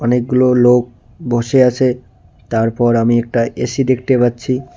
অনেকগুলো লোক বসে আছে তারপর আমি একটা এ_সি দেখতে পাচ্ছি।